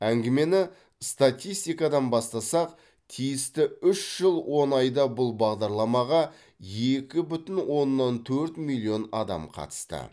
әңгімені статистикадан бастасақ тиісті үш жыл он айда бұл бағдарламаға екі бүтін оннан төрт миллион адам қатысты